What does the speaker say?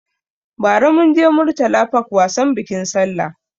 Ba ra munje Murtala park wasan bikin sallah